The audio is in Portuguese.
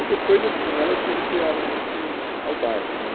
E depois, assim, elas se vincularam muito ao bairro né.